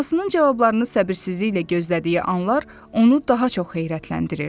Anasının cavablarını səbirsizliklə gözlədiyi anlar onu daha çox heyrətləndirirdi.